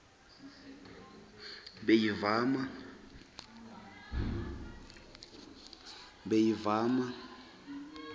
beyivama